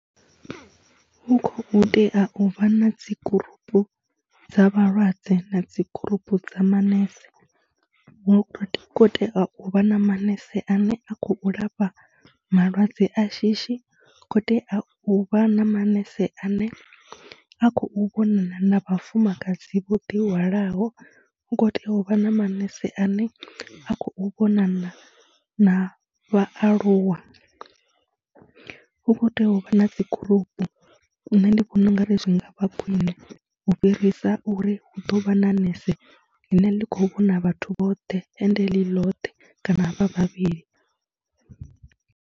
Hu khou tea u vha na dzi gurupu dza vhalwadze na dzi gurupu dza manese, hu khou tea u vha na manese ane a khou lafha malwadze a shishi, hu khou tea u vha na manese ane a khou vhonana na vhafumakadzi vho ḓihwalaho. Hu khou tea u vha na manese ane a khou vhonana na vhaaluwa, hu kho tea u vha na dzi gurupu, nṋe ndi vhona u nga ri zwi nga vha khwine u fhirisa uri hu ḓo vha na nese ḽine ḽi khou vhona vhathu vhoṱhe ende ḽi ḽothe kana vha vhavhili.